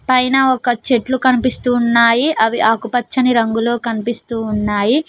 పైన ఒక చెట్లు కనిపిస్తూ ఉన్నాయి అవి ఆకుపచ్చని రంగులో కనిపిస్తూ ఉన్నాయి.